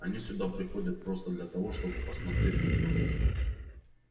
они сюда приходят просто для того чтобы посмотреть друг на друга